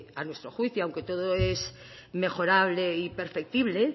a nuestro juicio aunque todo es mejorable y perceptible